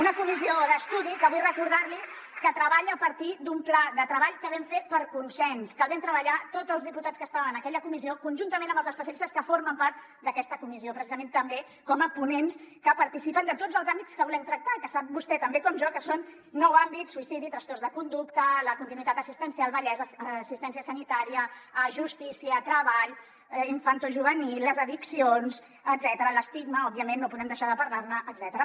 una comissió d’estudi que vull recordar li que treballa a partir d’un pla de treball que vam fer per consens que el vam treballar tots els diputats que estàvem en aquella comissió conjuntament amb els especialistes que formen part d’aquesta comissió precisament també com a ponents que participen de tots els àmbits que volem tractar que sap vostè tan bé com jo que són nou àmbits suïcidi trastorns de conducta la continuïtat assistencial vellesa assistència sanitària justícia treball infantojuvenil les addiccions l’estigma òbviament no podem deixar de parlar ne etcètera